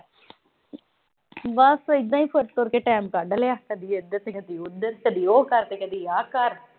ਬਸ ਇਦਾ ਈ ਤੁਰ-ਤੁਰ ਕੇ ਟਾਈਮ ਕੱਢ ਲਿਆ। ਕਦੀ ਇਧਰ ਤੇ ਕਦੀ ਉਧਰ। ਕਦੀ ਉਹ ਕਰ ਤੇ ਕਦੀ ਆ ਕਰ।